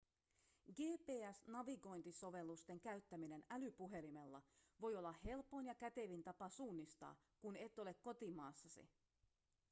gps-navigointisovellusten käyttäminen älypuhelimella voi olla helpoin ja kätevin tapa suunnistaa kun et ole kotimaassasi